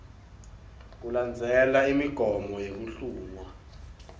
kulandzelwe imigomo yekuhlungwa